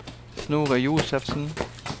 Snorre Josefsen